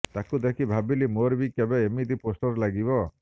ତାକୁ ଦେଖି ଭାବିଲି ମୋର ବି କେବେ ଏମିତି ପୋଷ୍ଟର୍ ଲାଗିବ